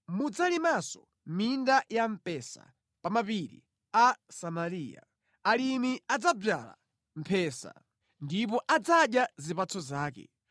Mudzalimanso minda ya mpesa pa mapiri a Samariya; alimi adzadzala mphesa ndipo adzadya zipatso zake.